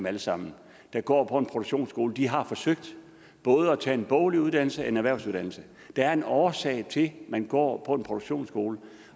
alle sammen der går på en produktionsskole har forsøgt både at tage en boglig uddannelse og en erhvervsuddannelse der er en årsag til at man går på en produktionsskole